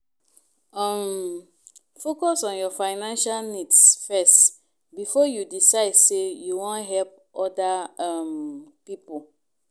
um focus on your financial needs first before you decide sey you wan help oda um pipo